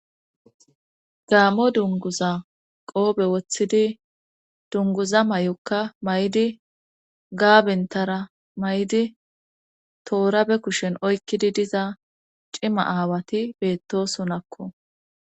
gaammo dunguza qoobe woththidi dunguza may7okka may7di gaabentara may7di toorabe kushen oykkidi diza cima aawati beetto sonakko